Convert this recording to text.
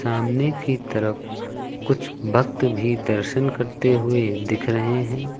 सामने की तरफ कुछ भक्त भी दर्शन करते हुए दिख रहे हैं।